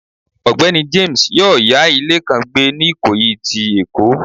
Ọgbẹni James yọọ ya ile kan gbè ni ikoyi ti Èko.